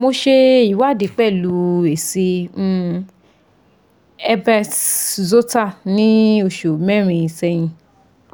mo se iwadi pelu esi um herpes zoster ni osu merin sehin